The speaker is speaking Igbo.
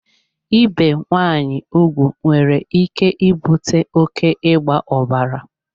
Ibe nwaanyị ugwu nwere ike ibute oké ịgba ọbara.